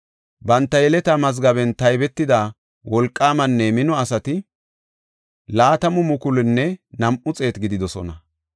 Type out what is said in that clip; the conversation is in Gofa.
Banta yeletaa mazgaben taybetida wolqaamanne mino asati 20,200 gididosona.